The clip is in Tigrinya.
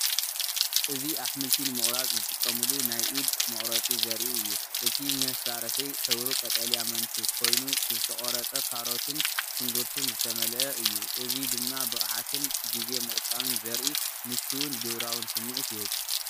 እዚ ኣሕምልቲ ንምቑራጽ ዝጥቀመሉ ናይ ኢድ መቑረጺ ዘርኢ እዩ። እቲ መሳርሒ ሕብሩ ቀጠልያ መንቱ ኮይኑ ብዝተቖርጸ ካሮት ሽንጉርቲ ዝተመልአ እዩ። እዚ ድማ ብቕዓትን ግዜ ምቑጣብን ዘርኢ ምቹእን ግብራውን ስምዒት ይህብ።